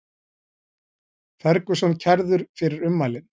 Ferguson kærður fyrir ummælin